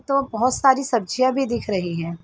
तो बोहोत सारी सब्जियां भी दिख रही हैं।